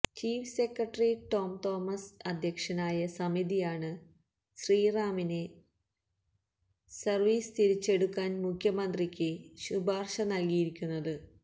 chief secretary Tom Thomas അധ്യക്ഷനായ സമിതിയാണ് ശ്രീറാമിനെ സര്വീസില് തിരിച്ചെടുക്കാന് മുഖ്യമന്ത്രിക്ക് ശുപാര്ശ നല്കിയിരിക്കുന്നത്